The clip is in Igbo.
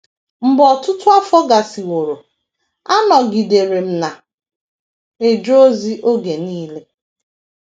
Mgbe ọtụtụ afọ gasịworo, anọgidere m na - eje ozi oge nile.